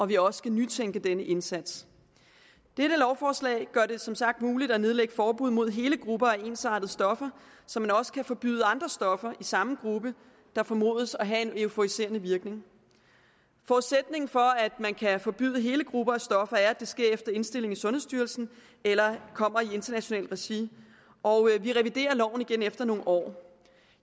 vi også skal nytænke denne indsats dette lovforslag gør det som sagt muligt at nedlægge forbud mod hele grupper af ensartede stoffer så man også kan forbyde andre stoffer i samme gruppe der formodes at have en euforiserende virkning forudsætningen for at man kan forbyde hele grupper af stoffer er at det sker efter indstilling fra sundhedsstyrelsen eller kommer i internationalt regi og vi reviderer loven igen efter nogle år